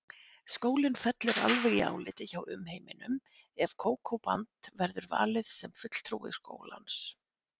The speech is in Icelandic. Skólinn fellur alveg í áliti hjá umheiminum ef Kókó-band verður valið sem fulltrúi skólans.